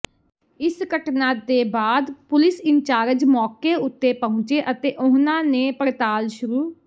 ਇਸ ਘਟਨਾ ਦੇ ਬਾਅਦ ਪੁਲਿਸ ਇਨਚਾਰਜ ਮੌਕੇ ਉੱਤੇ ਪਹੁੰਚੇ ਅਤੇ ਉਹਨਾਂ ਨੇ ਪੜਤਾਲ ਸ਼ੁਰੂ